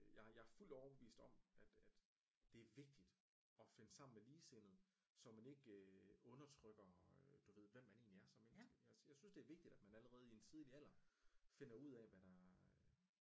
Jeg er fuldt overbevist om at at det er vigtigt og finde sammen med ligesindede så man ikke øh undertrykker du ved hvem man egentligt er som menneske jeg synes det er vigtigt at man allerede i en tidlig alder finder ud af øh